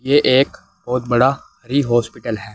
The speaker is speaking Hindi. ये एक बहुत बड़ा हरी हॉस्पिटल है।